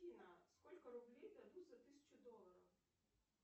афина сколько рублей дадут за тысячу долларов